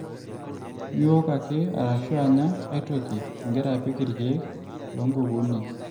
Miok ake arashu anya aitoki ing`ira apik irr`kiek loo n`kukunik.